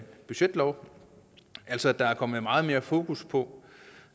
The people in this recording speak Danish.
budgetlov altså at der er kommet meget mere fokus på